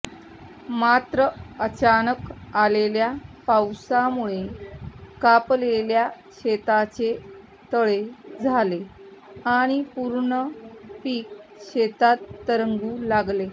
मात्र अचानक आलेल्या पावसामुळे कापलेल्या शेताचे तळे झाले आणि पूर्ण पीक शेतात तरंगू लागले